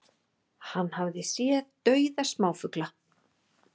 Hann hafi séð dauða smáfugla